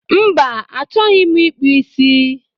Mba, achọghị m ịkpụ ísí